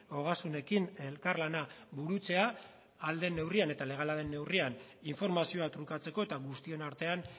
ogasunekin elkarlana burutzea ahal den neurrian eta legala den neurrian informazioa trukatzeko eta guztion artean